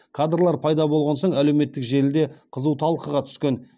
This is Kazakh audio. кадрлар пайда болған соң әлеуметтік желіде қызу талқыға түскен